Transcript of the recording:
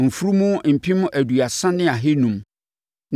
mfunumu Mpem aduasa ne ahanum (30,500) ne